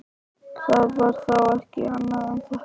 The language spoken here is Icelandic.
Það var þá ekki annað en þetta!